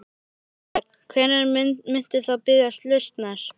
Þorbjörn: Hvenær muntu þá biðjast lausnar?